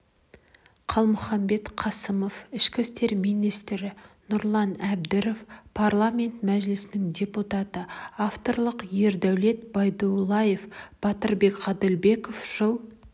қалмұханбет қасымов ішкі істер министрі нұрлан әбдіров парламенті мәжілісінің депутаты авторлары ердәулет байдуллаев батырбек ғаділбеков жыл